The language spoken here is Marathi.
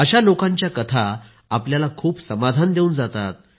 अशा लोकांच्या कथा आपल्याला खूप समाधान देऊन जातात